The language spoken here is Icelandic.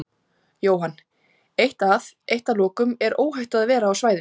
Jóhann: Eitt að, eitt að lokum, er óhætt að vera á svæðinu?